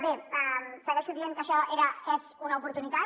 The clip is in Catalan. bé segueixo dient que això és una oportunitat